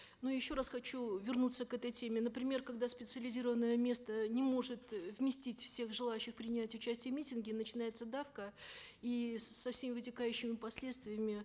но еще раз хочу вернуться к этой теме например когда специализированное место не может э вместить всех желающих принять участие в митинге начинается давка и со всеми вытекающими последствиями